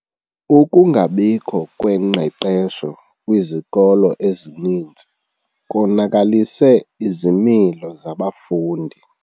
Ukungabikho kwengqeqesho kwizikolo ezininzi konakalise izimilo zabafundi.